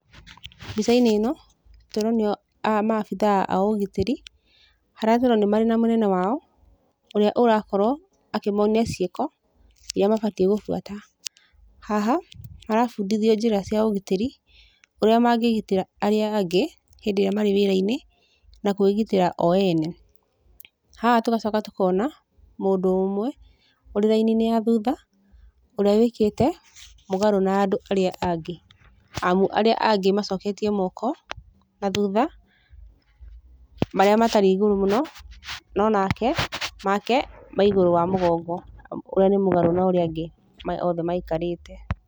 Mbica-inĩ ĩno tũronio maabithaa a ũgitĩrĩ, harĩa tũrona marĩ na mũnene wao ũrĩa ũrakorwo akĩmonia ciĩko iria mabatiĩ gũbuata. Haha marabundithio njĩra cia ũgitĩrĩ, ũrĩa mangĩgitĩra arĩa angĩ hĩndĩ ĩrĩa marĩ wĩra-inĩ na kwĩgitĩra o ene. Haha tũgacoka tũkona mũndũ ũmwe ũrĩ raini-inĩ ya thutha, ũrĩa wĩkĩte mũgarũ na andũ arĩa angĩ amu arĩa angĩ macoketie moko na thutha, marĩa matarĩ igũrũ mũno, no nake make me igũrũ wa mũgongo ũrĩa nĩ mũgarũ na ũrĩa arĩa angĩ othe maikarĩte.